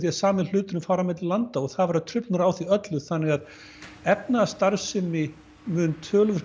sami hluturinn fari milli landa og það verða truflanir á því öllu þannig að efnahagsstarfsemi mun töluvert